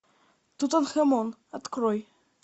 тутанхамон открой